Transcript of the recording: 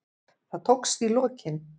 Það tókst í lokin.